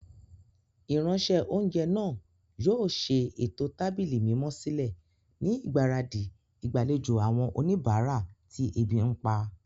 Ìránṣẹ́-oúnjẹ náà yóò ṣe ètò tábìlì mímọ́ sílẹ̀ ni ìgbáradì ìgbàlejò àwọn oníbàárà tí ebi ń pa.